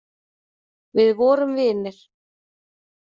Við vorum vinir.